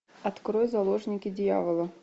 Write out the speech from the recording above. открой заложники дьявола